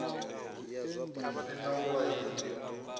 hu si na u vhaisa